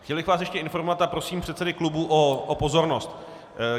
Chtěl bych vás ještě informovat - a prosím předsedy klubů o pozornost.